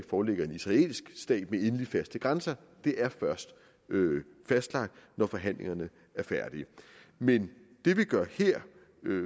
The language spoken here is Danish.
foreligger en israelsk stat med endelig faste grænser det er først fastlagt når forhandlingerne er færdige men det vi gør her